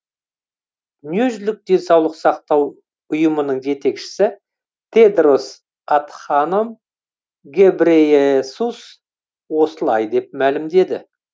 дүниежүзілік денсаулық сақтау ұйымының жетекшісі тедрос адханом гебрейесус осылай деп мәлімдеді